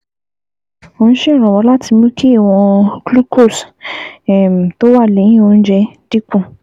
Ó ń ṣèrànwọ́ láti mú kí ìwọ̀n glucose um tó wà lẹ́yìn oúnjẹ dín kù